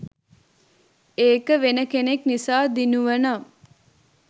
ඒක වෙන කෙනෙක් නිසා දිනුවනම්